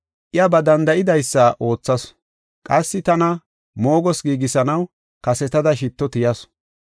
Iya ba danda7idaysa oothasu; qassi tana moogoos giigisanaw kasetada shitto tiyasu.